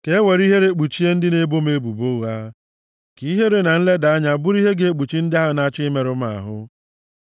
Ka e were ihere kpuchie ndị na-ebo m ebubo ụgha; ka ihere na nleda anya bụrụ ihe ga-ekpuchi ndị ahụ na-achọ imerụ m ahụ.